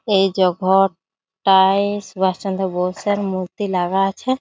এই যে ঘরটা-আয় সুভাষ চন্দ্র বোসের মূর্তি লাগা আছে।